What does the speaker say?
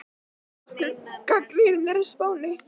Af hverju gagnrýnin á Spáni?